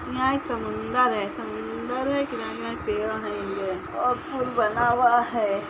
यहाँ एक समुंदर है समुंदर है किनारे-किनारे पेड़ हेंगे और पूल बना हुआ है।